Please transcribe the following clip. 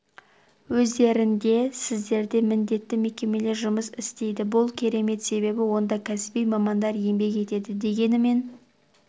өздерінде сіздерде міндетті мекемелер жұмыс істейді бұл керемет себебі онда кәсіби мамандар еңбек етеді дегенмен